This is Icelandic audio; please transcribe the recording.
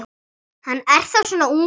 Hann er þá svona ungur.